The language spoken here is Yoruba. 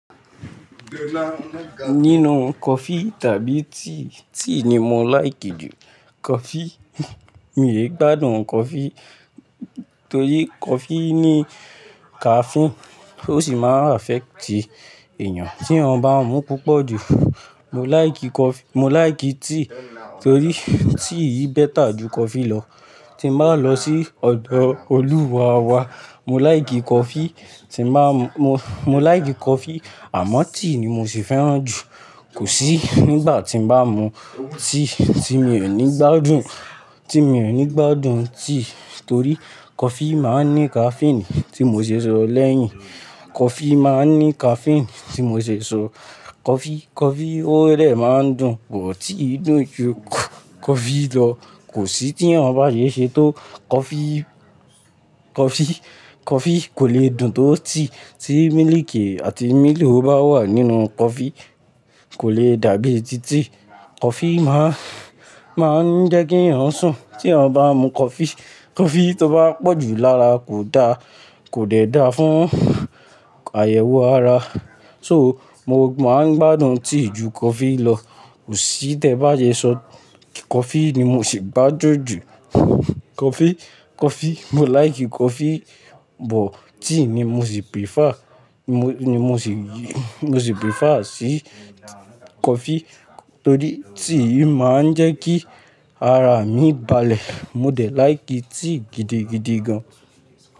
Nínú coffee tàbí tea, tea ni mo like jù coffee. Mí ò gbádùn coffee torí coffee ní caffeine ó sì máa affect èèyàn tí a bá mu púpọ̀ jù. Mo like coffee, mo like tea torí tea yi better jù coffee lọ. Tí mo bá lọ sí ọ̀dọ̀ olúwa wa, mo like coffee, tí mo bá mo, mo like coffee àmọ́ tea ni mo sì fẹ́ràn jù. Kò sí nígbà tí mo bá mu tea tí mi ò ní gbádùn, tí mi ò ní gbádùn tea torí coffee máa ń ní caffeine tí mo ṣe sọ lẹ́yìn. Coffee máa ń ní caffeine tí mo ṣe sọ. Coffee, coffee ó rẹ̀ máa ń dùn but tea dùn jù coffee lọ. Kò sí tí ẹ̀yin ò bá yé ṣe tó coffee, coffee, coffee kò lè dùn tó tea. Tí mílìkì àti mílo ò bá wà nínú coffee kò lè dàbí ti tea. Coffee máa ń jẹ́ kí èèyàn sùn tí a bá mu coffee. Coffee tó bá pọ̀ jù lára kò da, kò dẹ da fún àyẹ̀wò ara. So, mo máa ń gbádùn tea jù coffee lọ. Kò sí tẹ bá yé sọ coffee ni mo sì gbá jọ jù coffee, coffee. Mo like coffee but tea ni mo sì prefer, mo ni mo sì, mo sì prefer sí coffee torí tea máa ń jẹ́ kí ara mi balẹ̀. Mo dẹ̀ like tea gidigidi gan.